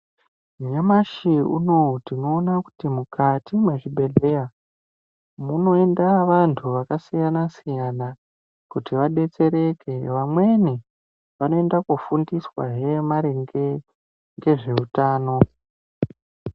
Nyamashi unowu tinoona kuti mukati mwezvibhedhlera munoenda vantu vakasiyana siya kuti vadetsereke vamweni vanoenda kufundiswahe maringe ngezveutano.